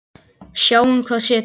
Sjáum hvað setur.